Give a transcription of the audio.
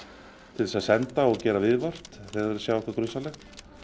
til þess að senda og gera viðvart þegar þeir sjá eitthvað grunsamlegt